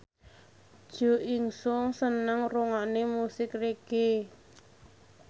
Jo In Sung seneng ngrungokne musik reggae